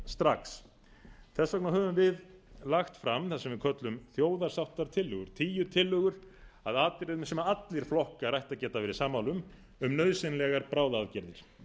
strax þess vegna höfum við lagt fram það sem við köllum þjóðarsáttartilögur tíu tillögur að atriðum sem allir flokkar ættu að geta verið sammála um um nauðsynlegar bráðaaðgerðir